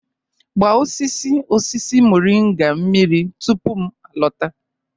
Gba osisi osisi moringa mmiri tupu m alọta.